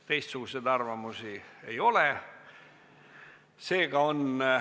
Teistsuguseid arvamusi ei ole.